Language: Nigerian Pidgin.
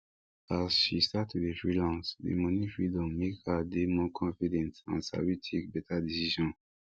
as she start to dey freelance the money freedom make her dey more confident and sabi take better decision